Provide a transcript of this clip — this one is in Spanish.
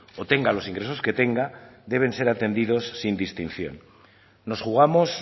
o tenga los ingresos que tenga deben ser atendidos sin distinción nos jugamos